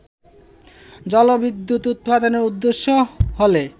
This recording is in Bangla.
জলবিদ্যুৎ উৎপাদন উদ্দেশ্য হলে